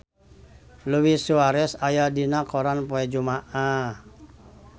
Luis Suarez aya dina koran poe Jumaah